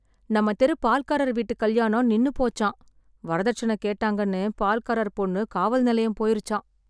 நம்ம தெரு பால்காரர் வீட்டுக் கல்யாணம் நின்னு போச்சாம், வரதட்சணை கேட்டாங்கன்னு பால்காரர் பொண்ணு காவல் நிலையம் போயிருச்சாம்.